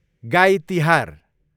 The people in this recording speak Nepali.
गाई तिहार